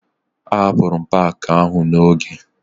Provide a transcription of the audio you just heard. Ahapụrụ m paakị ahụ n'oge